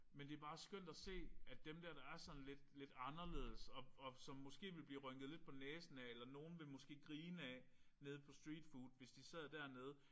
Men det er bare skønt at se at dem der der er sådan lidt lidt anderledes og og som måske ville blive rynket lidt på næsen af eller nogen ville måske grine af nede på streetfood hvis de sad dernede